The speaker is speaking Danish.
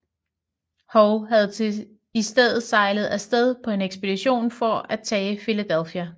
Howe havde i stedet sejlet af sted på en ekspedition for at tage Philadelphia